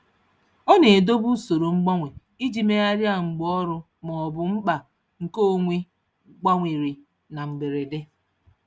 Ọ na-edobe usoro mgbanwe iji megharịa mgbe ọrụ maọbụ mkpa nke onwe gbanwere na mberede.